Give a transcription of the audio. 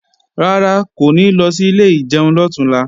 Rárá, kò ní lọ sí ilé ìjẹun lọ̀túnla